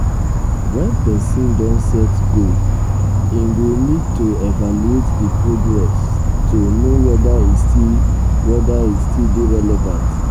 um when person don set goal im go need to um evaluate di progress to um know whether e still whether e still dey relevant